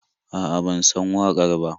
A'a, ban san waƙar ba.